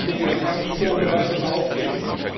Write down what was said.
Ich denke, das kann man nicht so ohne weiteres aufgeben.